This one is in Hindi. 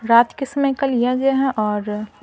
रात के समय का लिया गया है और--